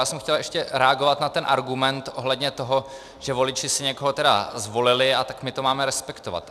Já jsem chtěl ještě reagovat na ten argument ohledně toho, že voliči si někoho tedy zvolili, a tak my to máme respektovat.